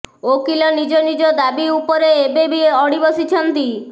ଓକିଲ ନିଜ ନିଜ ଦାବୀ ଉପରେ ଏବେ ବି ଅଡି ବସିଛନ୍ତି